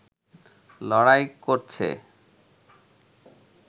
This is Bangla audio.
লড়াই করছে